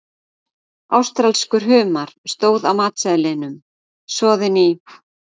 Ástralskur humar, stóð á matseðlinum, soðinn í